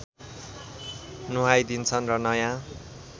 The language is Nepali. नुहाइदिन्छन् र नयाँ